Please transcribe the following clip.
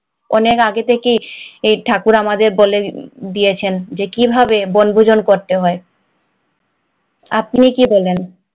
অনেক আগে থেকেই ঠাকুর আমাদের বলে দিয়েছেন যে কিভাবে বনভোজন করতে হয় আপনি কি বলেন?